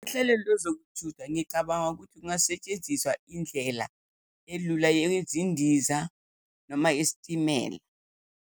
Uhlelo lwezokuthutha, ngicabanga ukuthi kungasetshenziswa indlela elula yezindiza noma yesitimela.